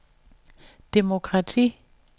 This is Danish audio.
demokrati